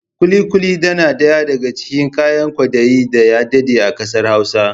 Ƙuli-ƙuli dana daya daga cikin kayan kwaɗayi daya daɗe a ƙasar Hausa